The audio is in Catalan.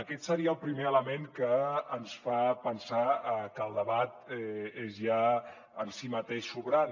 aquest seria el primer element que ens fa pensar que el debat és ja en si mateix sobrant